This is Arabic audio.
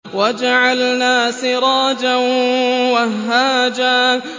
وَجَعَلْنَا سِرَاجًا وَهَّاجًا